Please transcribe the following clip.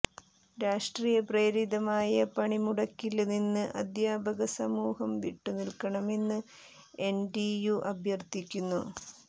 രാഷ്ട്രീയപ്രേരിതമായ പണിമുടക്കില് നിന്ന് അധ്യാപക സമൂഹം വിട്ടു നില്ക്കണമെന്ന് എന്ടിയു അഭ്യര്ഥിക്കുന്നു